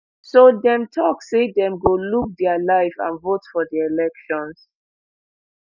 so dem tok say dem go look dia life and vote for di elections